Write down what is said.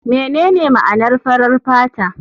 Menene ma'anar farar fata?